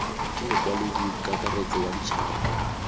ke mokwaledi kakaretso wa ditšhaba